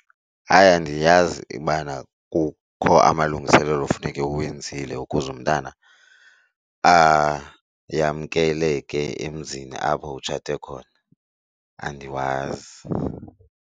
Hayi, andiyazi ubana kukho amalungiselelo ekufuneke uwenzile ukuze umntana ayamkeleke emzini apho utshate khona, andiwazi.